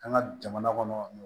An ka jamana kɔnɔ